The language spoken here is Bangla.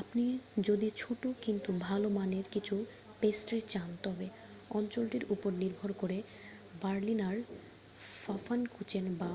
আপনি যদি ছোট কিন্তু ভালো মানের কিছু পেস্ট্রি চান তবে অঞ্চলটির উপর নির্ভর করে বার্লিনার ফাফানকুচেন বা